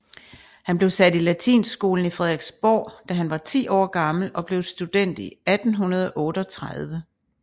Han blev sat i latinskolen i Frederiksborg da han var 10 år gammel og blev student i 1838